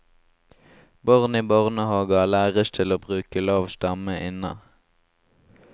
Barn i barnehager læres til å bruke lav stemme inne.